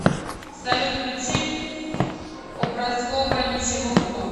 салют включи образкобра ничего кроме